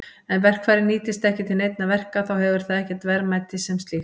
Ef verkfærið nýtist ekki til neinna verka þá hefur það ekkert verðmæti sem slíkt.